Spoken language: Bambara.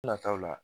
Nataw la